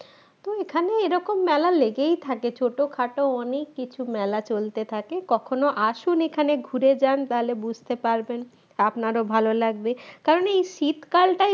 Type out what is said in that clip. এরকম মেলা লেগেই থাকে ছোটখাটো অনেক কিছু মেলা চলতে থাকে কখনো আসুন এখানে ঘুরে যান তাহলে বুঝতে পারবেন আপনারও ভালো লাগবে কারণ এই শীতকালটাই